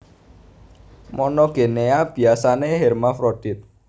Monogenea biasané hermafrodit